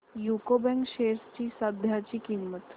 UCO bank shares ची सध्याची किंमत